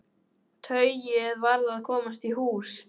Tauið varð að komast í hús.